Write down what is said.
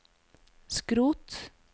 skrot